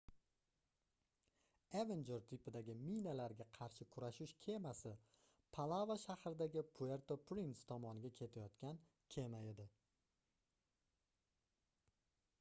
evenjer tipidagi minalarga qarshi kurashish kemasi palava shahridagi puerto prince tomonga ketayotgan kema edi